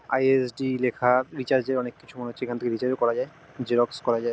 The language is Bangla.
আই. এস. ডি. লেখা রিচার্জ -এর অনেক কিছু মনে হচ্ছে এখান থেকে রিচার্জ -ও করা যায় জেরক্স করা যায় ।